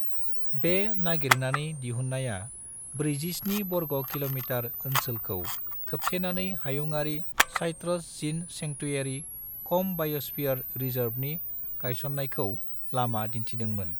बे नागिरनानै दिहुननाया ब्रैजि-स्नि बर्ग किलोमीटर ओनसोलखौ खोबथेनानै हायुङारि साइट्रस जीन सेंकटुयारी-कम-बायोस्फीयर रिजर्वनि गायसननायखौ लामा दिन्थिदों मोन।